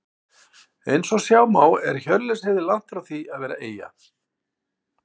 Eins og sjá má er Hjörleifshöfði langt frá því að vera eyja.